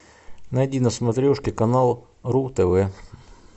найди на смотрешке канал ру тв